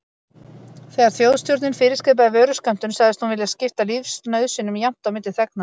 Þegar Þjóðstjórnin fyrirskipaði vöruskömmtun, sagðist hún vilja skipta lífsnauðsynjum jafnt á milli þegnanna.